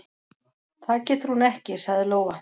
"""Það getur hún ekki, sagði Lóa."""